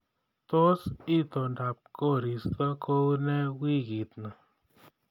Tos itondab koristo koune wiikitni